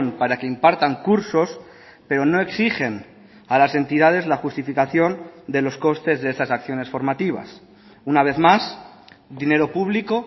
para que impartan cursos pero no exigen a las entidades la justificación de los costes de esas acciones formativas una vez más dinero público